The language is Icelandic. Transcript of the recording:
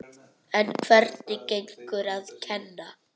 En hvernig gengur að kenna?